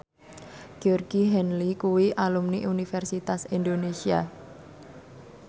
Georgie Henley kuwi alumni Universitas Indonesia